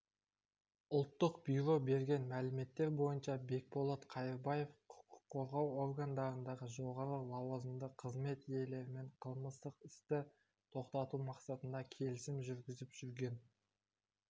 ұлттық бюро берген мәліметтер бойынша бекболат қайырбаев құқық қорғау органдарындағы жоғары лауазымды қызмет иелерімен қылмыстық істі тоқтату мақсатында келісім жүргізіп жүрген